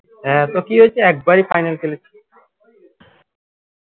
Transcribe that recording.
হ্যাঁ তো কী হয়েছে একবারই final খেলে